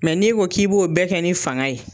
Mɛ ni e ko k'i b'o bɛɛ kɛ ni fanga ye.